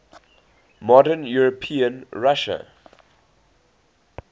modern european russia